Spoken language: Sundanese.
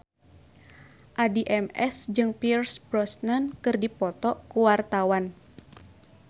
Addie MS jeung Pierce Brosnan keur dipoto ku wartawan